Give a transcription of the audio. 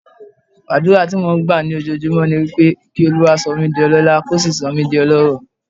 Àdúrà tí mò ń gbà lójoojúmọ́ ni pé kí Olúwa sọ mí di ọlọ́lá, kó sì sọ mí di ọlọ́rọ̀.